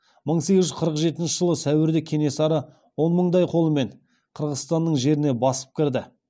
мың сегіз жүз қырық жетінші жылғы сәуірде кенесары он мындай қолмен қырғызстанның жеріне басып кірді